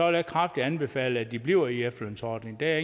jeg kraftigt anbefale at de bliver i efterlønsordningen det er